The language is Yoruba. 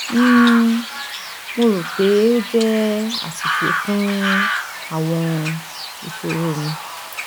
um mo ro pe o jẹ aṣiṣe fun awọn iṣoro mi